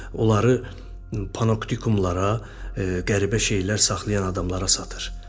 onları panoptikumlara, qəribə şeylər saxlayan adamlara satır.